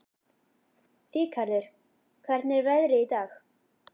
Rikharður, hvernig er veðrið í dag?